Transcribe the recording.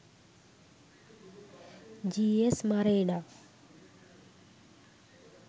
gsmarena